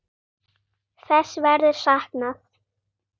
Þess verður saknað.